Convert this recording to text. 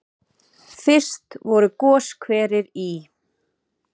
Fyrst voru goshverir í